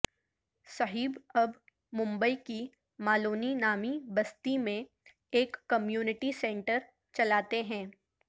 صہیب اب ممبئی کی مالونی نامی بستی میں ایک کمیونٹی سینٹر چلاتے ہیں